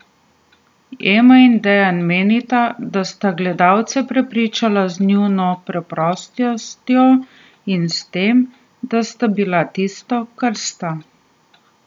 Ema in Dejan menita, da sta gledalce prepričala z njuno preprostostjo in s tem, da sta bila tisto, kar sta.